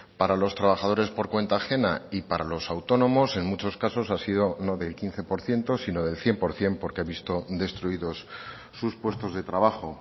para los trabajadores por cuenta ajena y para los autónomos en muchos casos ha sido no del quince por ciento sino del cien por ciento porque ha visto destruidos sus puestos de trabajo